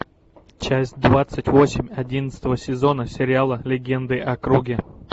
часть двадцать восемь одиннадцатого сезона сериала легенды о круге